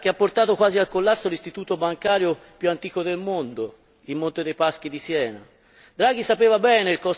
Mi riferisco alla vicenda che ha portato quasi al collasso l'istituto bancario più antico del mondo, il Monte dei Paschi di Siena.